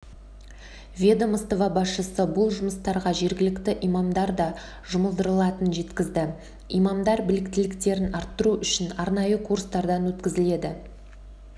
ведомство басшысы бұл жұмыстарға жергілікті имамдар да жұмылдырылатынын жеткізді имамдар біліктіліктерін арттыру үшін арнайы курстардан өткізіледі